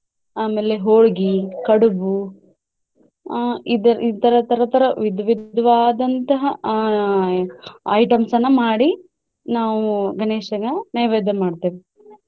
ಆಮೇಲೆ ಹೊಳ್ಗಿ, ಕಡುಬು ಆಹ್ ಇದ್ ಈತರ ತರ ತರ ವಿಧ ವಿಧವಾದಂತಹ ಆಹ್ items ಅನ್ನ ಮಾಡಿ ನಾವು ಗಣೇಶನ ನೈವೇದ್ಯ ಮಾಡ್ತೇವೆ.